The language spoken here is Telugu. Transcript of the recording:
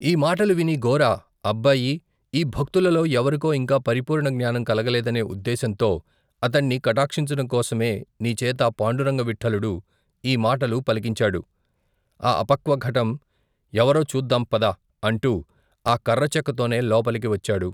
ఈ మాటలు విని గోరా అబ్బాయీ ఈ భక్తులలో ఎవరికో ఇంకా పరిపూర్ణ జ్ఞానం కలగలేదనే ఉద్దేశంతో అతణ్ణి కటాక్షించడంకోసమే నీచేత పాండురంగ విఠలుడు ఈమాటలు పలికించాడు ఆ అపక్వఘటం ఎవరో చూద్దాం పద అంటూ ఆ కర్రచెక్కతోనే లోపలికి వచ్చాడు.